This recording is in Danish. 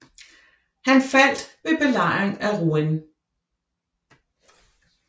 Han faldt ved belejringen af Rouen